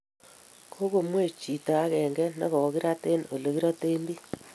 Kagomwei choto agenge negogagirat eng olegiraten biik